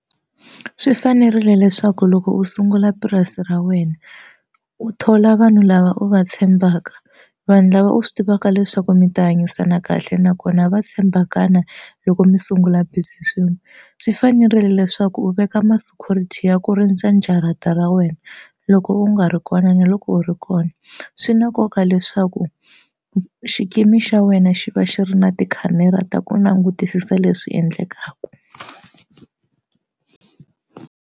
Swi fanerile leswaku loko u sungula purasi ra wena u thola vanhu lava u va tshembaka vanhu lava u swi tivaka leswaku mi ta hanyisana kahle nakona va tshembakana loko mi sungula swin'we swi fanerile leswaku u veka ma security ya ku rindza jarata ra wena loko u nga ri kona na loko u ri kona swi na nkoka leswaku xikimi xa wena xi va xi ri na tikhamera ta ku langutisisa leswi endlekaka.